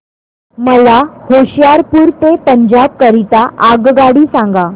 मला होशियारपुर ते पंजाब करीता आगगाडी सांगा